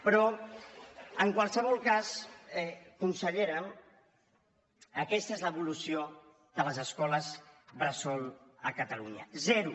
però en qualsevol cas consellera aquesta és l’evolució de les escoles bressol a catalunya zero